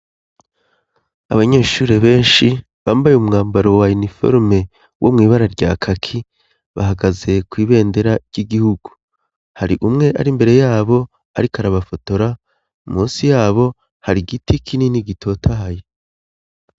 Abanyeshure benshi bambaye umwambaro wa iniforme wo mu ibara rya kaki bahagaze ku ibendera ry'igihugu hari umwe ari mbere yabo ariko arabafotora munsi yabo hari giti kinini gitotahaye.